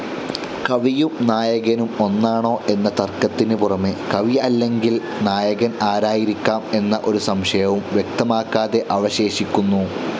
കവിയും നായകനും ഒന്നാണോ എന്ന തർക്കത്തിന് പുറമേ കവി അല്ലെങ്കിൽ നായകൻ ആരായിരിക്കാം എന്ന ഒരു സംശയവും വ്യക്തമാകാതെ അവശേഷിക്കുന്നു.